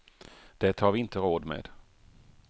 Det har vi inte råd med.